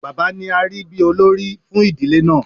Bàbá ni arí bí olórí fún ìdílé náà.